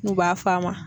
N'u b'a f'a ma